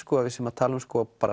að við séum að tala um